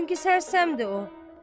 Çünki sərsəmdir o.